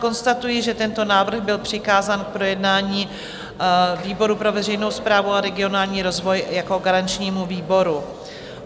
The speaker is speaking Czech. Konstatuji, že tento návrh byl přikázán k projednání výboru pro veřejnou správu a regionální rozvoj jako garančnímu výboru.